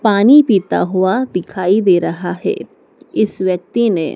पानी पीता हुआ दिखाई दे रहा है इस व्यक्ति ने--